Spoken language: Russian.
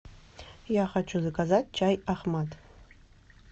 я хочу заказать чай ахмад